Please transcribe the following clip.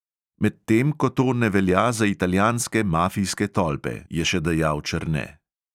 "Medtem ko to ne velja za italijanske mafijske tolpe," je še dejal černe.